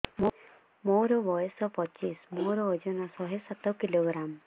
ମୋର ବୟସ ପଚିଶି ମୋର ଓଜନ ଶହେ ସାତ କିଲୋଗ୍ରାମ